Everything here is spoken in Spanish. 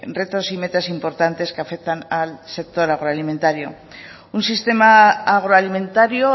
retos y metas importantes que afectan al sector agroalimentario un sistema agroalimentario